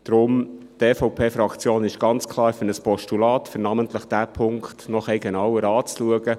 Deswegen ist die EVP-Fraktion ganz klar für ein Postulat, um namentlich diesen Punkt noch etwas genauer anzuschauen.